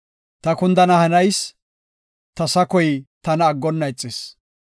Ta kundana hanayis, ta sakoy tana aggonna ixis.